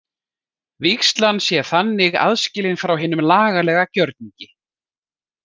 Vígslan sé þannig aðskilin frá hinum lagalega gjörningi.